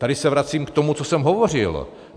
Tady se vracím k tomu, co jsem hovořil.